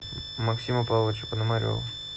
максима павловича пономарева